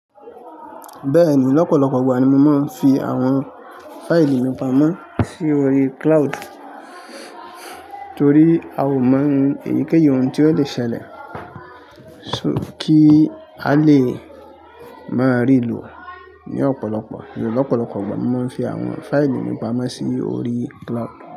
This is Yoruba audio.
Bẹ́ẹ̀ni lọ́pọ̀lọpọ̀ ìgbà ni mo máa ń fi àwọn fáìlì mi pamọ́ sí orí cloud, torí a ò mọ èyíkéyìí ohun tí ó lè ṣẹlẹ̀. Kí a lè máa rí ló ní ọ̀pọ̀lọpọ̀ yun ọ̀pọ̀lọpọ̀ ìgbà mo máa ń fi àwọn fáìlì mi pamọ́ sí orí cloud.